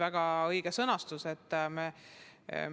Väga õige küsimus!